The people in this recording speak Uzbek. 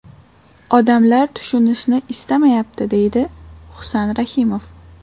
Odamlar tushunishni istamayapti”, deydi Husan Rahimov.